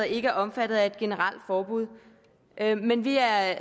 ikke er omfattet af et generelt forbud men vi er